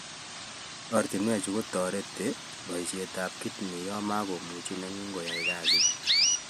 Ortunweechu kotareti poishetab kidney ya makomuchi nengun koyai kasit